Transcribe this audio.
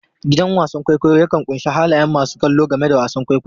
Gidan wasan kwaikwayo yakan ƙunshi halayen masu kallo game da wasan kwaikwayon.